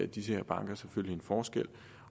de her banker selvfølgelig en forskel